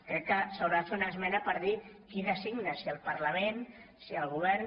crec que s’haurà de fer una esmena per dir qui designa si el parlament si el govern